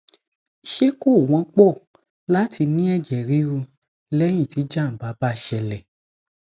ṣé ko won po lati ní ẹjẹ riru lẹyìn tí jàǹbá bá ṣẹlẹ